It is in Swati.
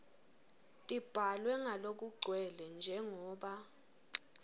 tibhalwe ngalokugcwele njengoba